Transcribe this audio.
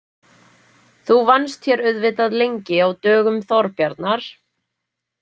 Þú vannst hér auðvitað lengi á dögum Þorbjarnar?